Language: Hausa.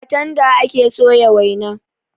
A tanda ake soya waina.